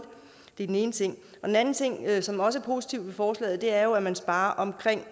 det er den ene ting den anden ting som også er positivt ved forslaget er jo at man sparer omkring